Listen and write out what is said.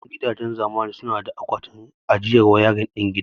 Yawancin gidajen zamani suna da akwatin ajiyar wayarin din gida.